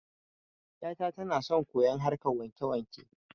Yata tana son koyon harkan wakewake